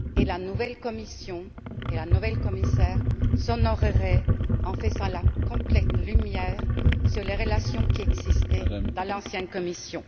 La nouvelle Commission et la nouvelle commissaire s'honoreraient en faisant la complète lumière sur les relations qui existaient dans l'ancienne Commission.